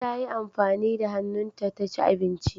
Tayi amfani da hannunta taci abinci.